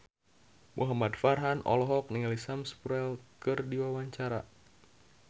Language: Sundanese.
Muhamad Farhan olohok ningali Sam Spruell keur diwawancara